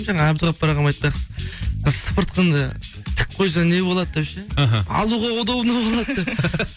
жаңа әбдуаппар ағам айтпақшы ы сыпыртқыңды тік қойсаң не болады деп ше іхі алуға удобно болады деп